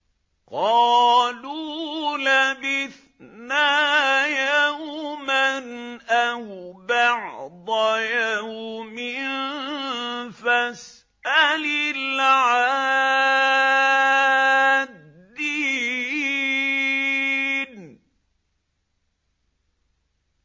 قَالُوا لَبِثْنَا يَوْمًا أَوْ بَعْضَ يَوْمٍ فَاسْأَلِ الْعَادِّينَ